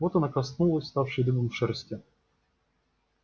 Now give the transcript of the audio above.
вот она коснулась вставшей дыбом шерсти